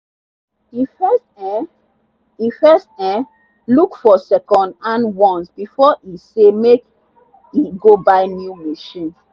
e first um e first um look for secondhand ones before e say make e go buy new machine.